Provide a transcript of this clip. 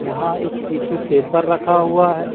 यहां एक tissue paper रखा हुआ है।